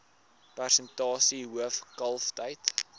persentasie hoof kalftyd